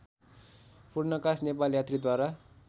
Purnakash Nepal यात्रीद्वारा